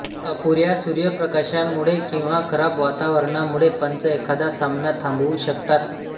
अपुऱ्या सुर्यप्रकाशामुळे किंवा खराब वातावरणामुळे पंच एखादा सामना थांबवू शकतात